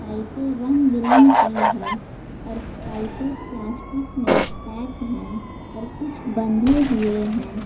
पाइपें रंग बिरंग़ की है और पाइपें प्लास्टिक में पैक है और कुछ बंधे हुए हैं।